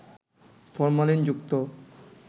ফরমালিনযুক্ত